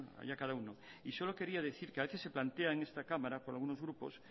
haya cada uno y solo quería decir que a veces se plantea en esta cámara por algunos grupos